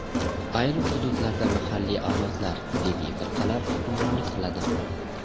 Ayrim hududlarda mahalliy avlodlar, diniy firqalar hukmronlik qiladi.